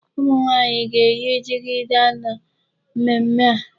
Ụmụnwaanyị ga-eyi jigida na mmemmé a.